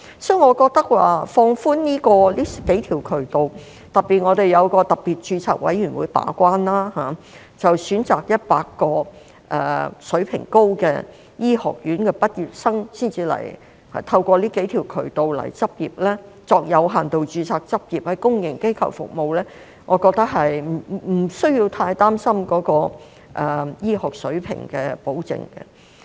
所以，我覺得可放寬這數個渠道，特別是我們設有一個特別註冊委員會把關，選擇100間水平高的醫學院的畢業生，再透過這數個渠道來港執業，作有限度註冊執業，在公營機構服務，我覺得無須太擔心醫學水平的保證。